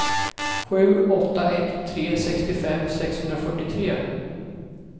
sju åtta ett tre sextiofem sexhundrafyrtiotre